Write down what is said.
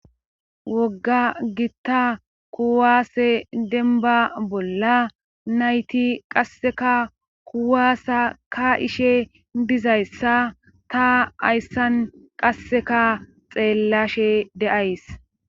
wogga gitta kuwaase denba bolla nayti qasseka kuwaasa ka'ishe dizayssa ta hayssan qasseka xeellashe de'ays